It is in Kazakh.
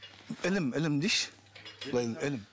ілім ілім дейінші былай